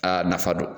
Aa nafa don